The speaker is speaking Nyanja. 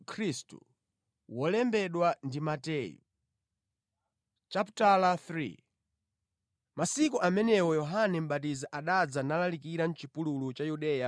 Mʼmasiku amenewo, Yohane Mʼbatizi anadza nalalikira mʼchipululu cha Yudeya